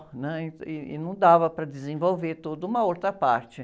né? E, e não dava para desenvolver toda uma outra parte.